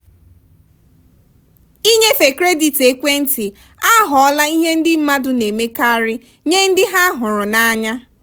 inyefe kredit ekwentị aghọọla ihe ndị mmadụ na-emekarị nye ndị ha hụrụ n'anya.